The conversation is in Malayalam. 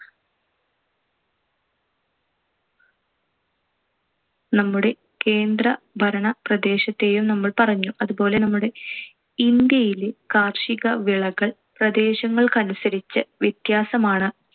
നമ്മുടെ കേന്ദ്രഭരണ പ്രദേശത്തെയും നമ്മൾ പറഞ്ഞു. അതുപോലെ നമ്മുടെ ഇന്ത്യയിൽ കാർഷികവിളകൾ പ്രദേശങ്ങൾക്കനുസരിച്ച് വ്യത്യാസമാണ്.